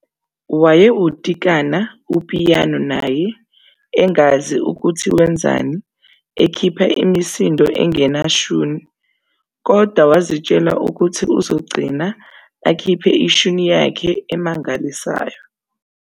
Wayewutikata upiyano naye engazi ukuthi wenzani ekhipha imisindo engena shuni, kodwa wazitshela ukuthi uzogcina ekhiphe ishuni yakhe emangalisayo.